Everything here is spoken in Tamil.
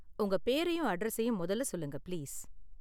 உங்க பேரையும் அட்ரஸயும் மொதல்ல சொல்லுங்க, பிளீஸ்.